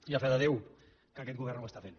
i a fe de déu que aquest govern ho està fent